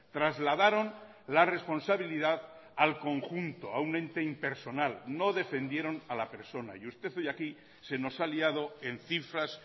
trasladaron la responsabilidad al conjunto a un ente impersonal no defendieron a la persona y usted hoy aquí se nos ha liado en cifras